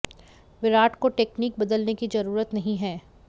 विराट को टेकनीक बदलने की जरूरत ही नहीं है